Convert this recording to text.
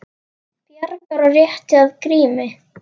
Bjargar og rétti að Grími.